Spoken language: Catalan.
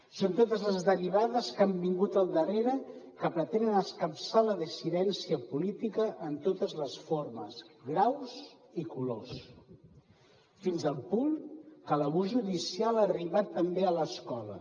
són totes les derivades que han vingut al darrere que pretenen escapçar la dissidència política en totes les formes graus i colors fins al punt que l’abús judicial ha arribat també a l’escola